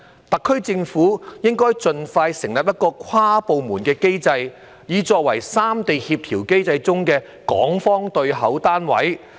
特區政府應該盡快設立一個跨部門單位，作為三地協調機制中的港方對口單位。